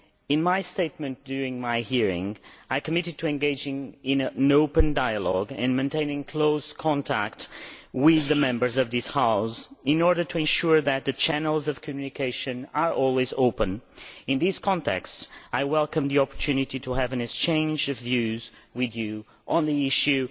In my statement during my hearing, I committed to engaging in an open dialogue and to maintaining close contact with the Members of this House in order to ensure that the channels of communication are always open. In this context, I welcome the opportunity to have an exchange of views with you on the issue